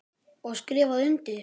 Og skrifa undir.